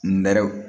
Nɛrɛw